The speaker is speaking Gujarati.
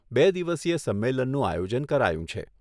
બે દિવસીય સંમેલનનું આયોજન કરાયું છે.